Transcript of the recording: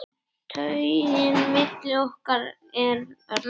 Taugin milli okkar er römm.